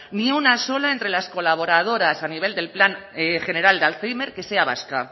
ni una sola entre las colaboradoras a nivel del plan general de alzhéimer que sea vasca